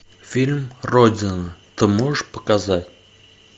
фильм родина ты можешь показать